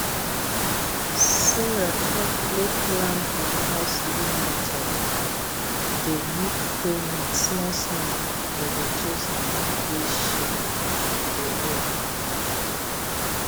sarah carefully plan her house loan method dey make payment smallsmall to reduce money wey she dey owe